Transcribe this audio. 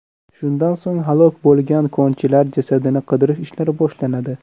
Shundan so‘ng halok bo‘lgan konchilar jasadini qidirish ishlari boshlanadi.